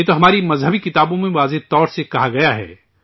ہمارے تو گرنتھوں میں واضح طور پر کہا گیا ہے